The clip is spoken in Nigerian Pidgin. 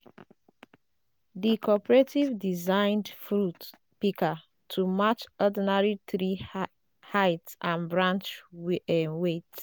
di cooperative designed fruit pika to match ordinary tree height and branch weight